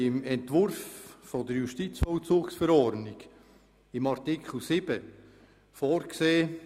Im Entwurf der Justizvollzugsverordnung haben wir in Artikel 7 vorgesehen: